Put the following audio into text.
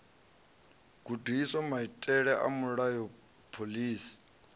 gudiswa maitele a mulayo phoḽisi